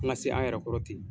An ka se an yɛrɛ kɔrɔ ten.